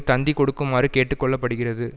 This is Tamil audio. தந்தி கொடுக்குமாறு கேட்டுக்கொள்ளப்படுகிறது